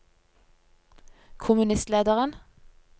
kommunistlederen